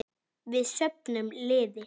Við söfnum liði.